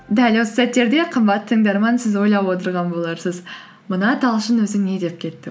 дәл осы сәттерде қамбатты тыңдарман сіз ойлап отырған боларсыз мына талшын өзі не деп кетті